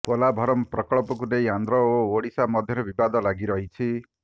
ପୋଲାଭରମ ପ୍ରକଳ୍ପକୁ ନେଇ ଆନ୍ଧ୍ର ଓ ଓଡ଼ିଶା ମଧ୍ୟରେ ବିବାଦ ଲାଗି ରହିଛି